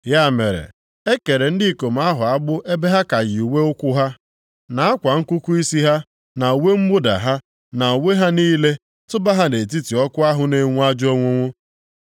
Ya mere, ha kere ndị ikom ahụ agbụ ebe ha ka yi uwe ụkwụ ha, na akwa nkụkụ isi ha, na uwe mwụda ha, na uwe ha niile, tụba ha nʼetiti ọkụ ahụ na-enwu ajọ onwunwu.